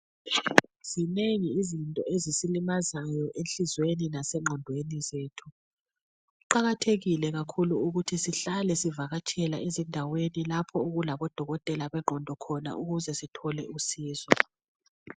Zinengi izinto ezisilimazayo enhlizweni lasenqondweni zethu. Kuqakathekile kakhulu ukuthi sihlale sivakatshela ezindaweni lapho okulabodokotela benqondo khona ukuze sithole usizo